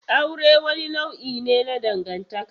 Aure wani nau'i ne na dangantaka.